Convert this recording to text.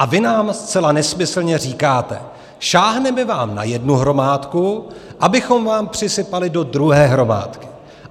A vy nám zcela nesmyslně říkáte: sáhneme vám na jednu hromádku, abychom vám přisypali do druhé hromádky.